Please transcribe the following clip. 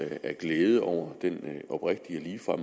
at glæde over den oprigtige og